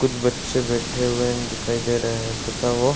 कुछ बच्चे बैठे हुए दिखाई दे रहे हैं तथा वो --